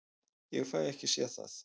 Ég fæ ekki séð það.